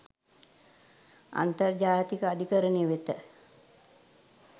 අන්තර්ජාතික අධිකරණය වෙත